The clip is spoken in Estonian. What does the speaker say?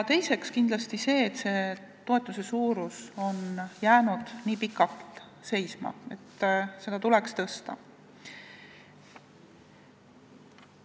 Teiseks kindlasti see, et toetus on jäänud nii pikalt seisma, et seda tuleks tõsta.